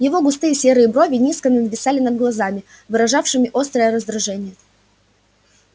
его густые седые брови низко нависали над глазами выражавшими острое раздражение